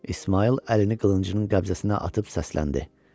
İsmayıl əlini qılıncının qəbzəsinə atıb səsləndi.